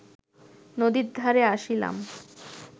নদীর ধারে আসিলাম